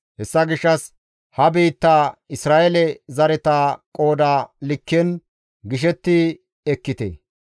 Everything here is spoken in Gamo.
«Hessa gishshas ha biitta Isra7eele zareta qooda likken gishetti ekkite.